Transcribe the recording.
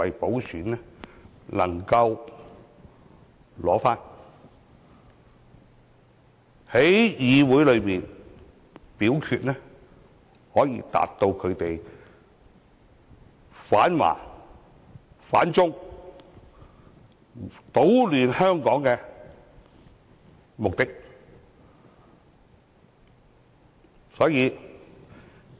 同時，在議會內表決時，又可達到他們反華、反中、搗亂香港的目的。